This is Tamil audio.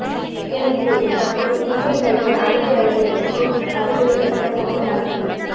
இந்த நிலையில் தற்போது இந்தியன் ரயில்வே அனைத்து ரயில்வேவிற்கும் அறிவுரை கடிதம் ஒன்றை அனுப்பி